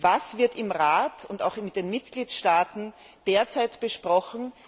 Was wird im Rat und auch in den Mitgliedstaaten derzeit besprochen?